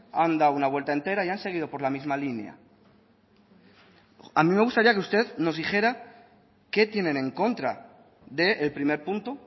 han dado una vuelta entera y han seguido por la misma línea a mí me gustaría que usted nos dijera qué tienen en contra del primer punto